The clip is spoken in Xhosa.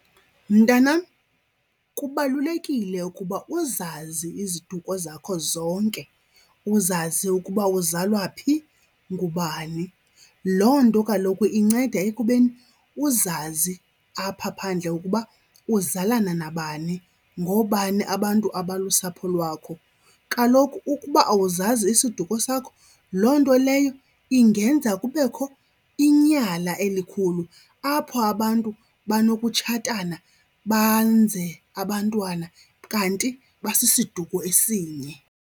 Mntanam, kubalulekile ukuba uzazi iziduko zakho zonke. Uzazi ukuba uzalwa phi, ngubani. Loo nto kaloku inceda ekubeni uzazi apha phandle ukuba uzalana nabani, ngoobani abantu abalusapho lwakho. Kaloku ukuba awuzazi isiduko sakho, loo nto leyo ingenza kubekho inyala elikhulu apho abantu banokutshatana banze abantwana kanti basisiduko esinye.